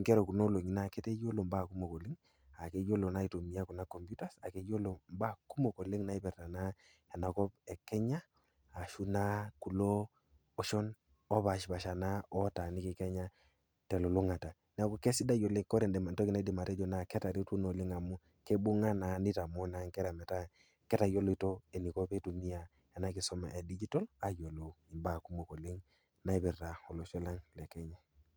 inkera e kuna oloong'i netaa keyiiolo imbaa kumok oleng' aa keyiolo naa aitumiya kuna kompyutas naa keiyiolo imbaa kumok oleng' naipirta naa ena kop e Kenya, ashu naa kulo oshon opaasha naa otaaniki kenya, te elulung'ata, neaku kesidai oleng, kore entoki naidim atejo naa ketaretwo naa amu keibung'a naa neitamoo naa inkera metaa ketayoloutuo eneiko pee eitumiya ena kisuma e digitol ayiolou imbaa kumok oleng' naipirta olosho lang' le Kenya.